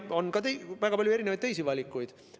On ka väga palju teisi valikuid.